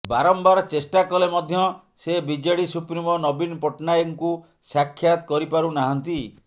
ବାରମ୍ବାର ଚେଷ୍ଟା କଲେ ମଧ୍ୟ ସେ ବିଜେଡ଼ି ସୁପ୍ରିମୋ ନବୀନ ପଟ୍ଟନାୟକଙ୍କୁ ସାକ୍ଷାତ କରିପାରୁନାହାଁନ୍ତି